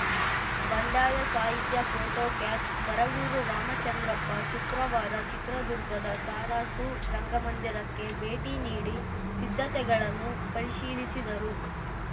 ಬಂಡಾಯ ಸಾಹಿತ್ಯ ಫೋಟೋ ಕ್ಯಾಫ್ಸ್‌ ಬರಗೂರು ರಾಮಚಂದ್ರಪ್ಪ ಶುಕ್ರವಾರ ಚಿತ್ರದುರ್ಗದ ತರಾಸು ರಂಗಮಂದಿರಕ್ಕೆ ಭೇಟಿ ನೀಡಿ ಸಿದ್ಧತೆಗಳನ್ನು ಪರಿಶೀಲಿಸಿದರು